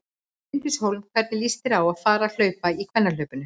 Bryndís Hólm: Hvernig líst þér á að fara að hlaupa í kvennahlaupinu?